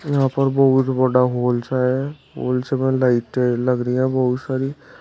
यहां पर बहुत बड़ा हॉल सा है और उसमें लाइटें लग रही है बहुत सारी।